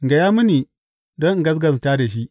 Gaya mini, don in gaskata da shi.